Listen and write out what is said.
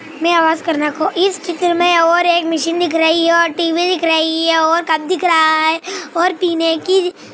करने को इस चित्र में और एक मिशिन दिख रही हे और टी_व्ही दिख रही हे और और कप दिख रहा हैं। और पिने की--